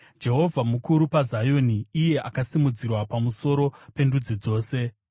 Jehovha mukuru paZioni; iye akasimudzirwa pamusoro pendudzi dzose.